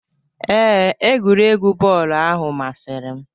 Ee, egwuregwu bọọlụ ahụ masịrị m.